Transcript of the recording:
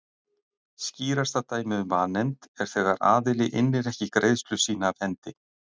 Skýrasta dæmið um vanefnd er þegar aðili innir ekki greiðslu sína af hendi.